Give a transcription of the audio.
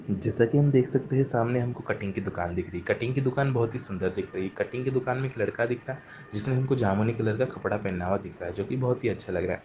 जैसा कि हम देख सकते हैं कि सामने हमको कटिंग की दुकान दिख रही है। कटिंग की दुकान बहुत ही सुन्दर दिख रही है। कटिंग की दुकान में एक लड़का दिख रहा है। जिसने हम को जामुनी कलर का कपड़ा पहना हुआ दिख रहा है जो कि बहुत ही अच्छा लग रहा है।